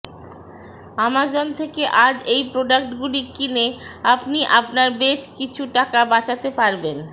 Amazon থেকে আজ এই প্রোডাক্ট গুলি কিনে আপনি আপনার বেছ কিছু টাকা বাচাতে পারবেন